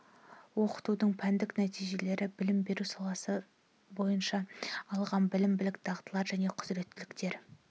оқытудың пәндік нәтижелері білім беру салалары бойынша алған білім білік дағдылар және құзіреттіліктер